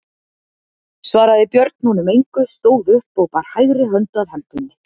Svaraði Björn honum engu, stóð upp og bar hægri hönd að hempunni.